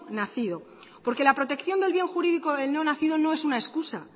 nacido porque la protección del bien jurídico del no nacido